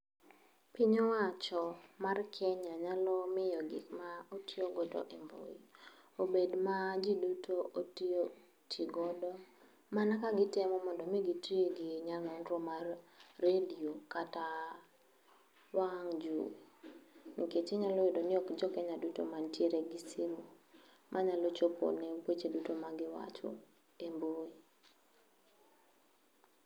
Piny owacho mar Kenya nyalomiyo gikma otiyogo e mbui, obed ma ji duto otigodo mana ka gitemo mondo mi giti gi nyang'ongro mar radio kata wang' jowi. Nikech inyalo iyudo ni ok jo Kenya duto mantiere gi simu, manyalo chopone weche duto ma giwacho e mbui.